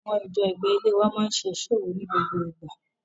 Àwọn ìjọ ẹ̀gbẹ́ ilée wa máa ń ṣe iṣọ́ òru ní gbogbo ìgbà.